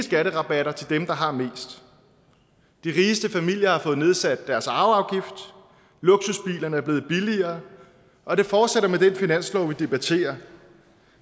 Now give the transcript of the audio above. skatterabatter til dem der har mest de rigeste familier har fået nedsat deres arveafgift luksusbilerne er blevet billigere og det fortsætter med den finanslov vi debatterer